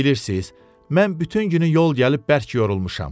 mən bütün günü yol gəlib bərk yorulmuşam.